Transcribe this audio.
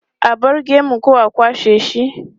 A bar maka gemu ko a kwashe shi?